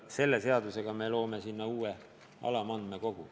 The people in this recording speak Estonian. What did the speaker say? Selle seadusega me loome sinna uue alamandmekogu.